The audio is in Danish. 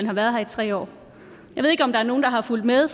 har været her i tre år jeg ved ikke om der er nogen der har fulgt med